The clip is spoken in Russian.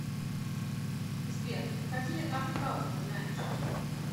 сбер какие артхаус ты знаешь